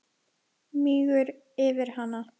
Mígur yfir hana.